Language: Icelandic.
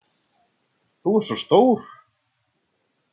Þú ert svo stór.